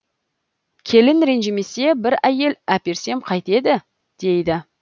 келін ренжімесе бір әйел әперсем қайтеді дейді